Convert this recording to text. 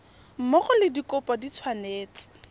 mmogo le dikopo di tshwanetse